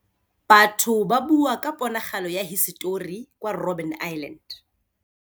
Batho ba bua ka ponagalô ya hisetori kwa Robin Island.